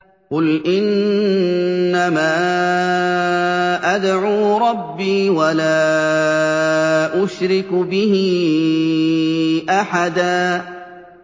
قُلْ إِنَّمَا أَدْعُو رَبِّي وَلَا أُشْرِكُ بِهِ أَحَدًا